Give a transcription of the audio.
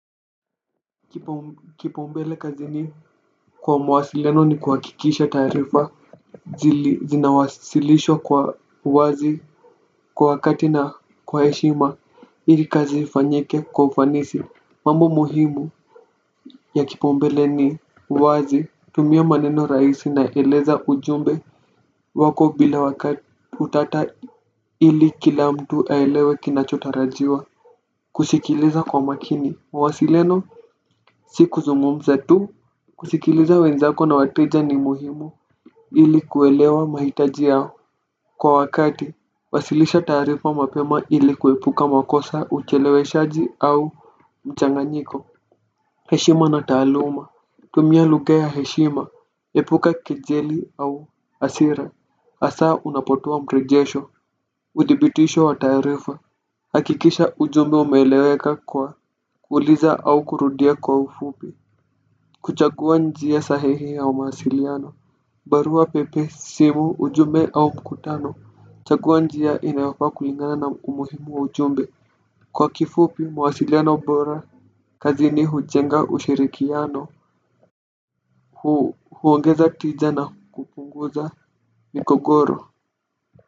Kipaumbele kazini kwa mawasiliano ni kuhakikisha taarifa zinawasilishwa kwa uwazi, kwa wakati na kwa heshima ili kazi ifanyike kwa ufanisi. Mambo muhimu ya kipaumbele ni uwazi, tumia maneno rahisi na eleza ujumbe wako bila utata ili kila mtu aelewe kinachotarajiwa. Kusikiliza kwa makini, mwasileno, si kuzungumza tu. Kusikiliza wenzako na wateja ni muhimu, ili kuelewa mahitaji yao kwa wakati, wasilisha tarifa mapema ili kuepuka makosa, ucheleweshaji au mchanganyiko. Heshima na taaluma. Tumia lugha ya heshima, epuka kejeli au hasira hasa unapotoa mrejesho. Udhibitisho wa taarifa. Hakikisha ujumbe umeeleweka kwa kuuliza au kurudia kwa ufupi. Kuchagua njia sahihi ya mawasiliano barua pepe, simu, ujumbe au mkutano. Chagua njia inayofaa kulingana na umuhimu wa ujumbe. Kwa kifupi mawasiliano bora kazini hujenga ushirikiano huongeza tija na kupunguza migogoro.